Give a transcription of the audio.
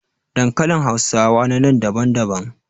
Dankalin hausawa na nan daban daban.